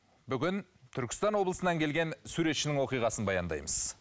бүгін түркістан облысынан келген суретшінің оқиғасын баяндаймыз